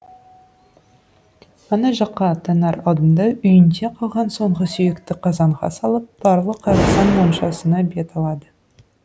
ана жаққа аттанар алдында үйінде қалған соңғы сүйекті қазанға салып барлық арасан моншасына бет алады